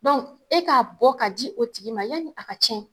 Dɔnku e k'a bɔ ka di o tigi ma yanni a ka cɛn